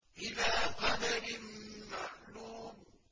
إِلَىٰ قَدَرٍ مَّعْلُومٍ